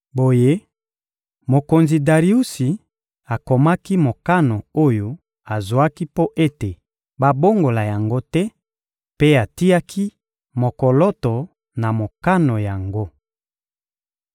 Boye, mokonzi Dariusi akomaki mokano oyo azwaki mpo ete babongola yango te mpe atiaki mokoloto na mokano yango.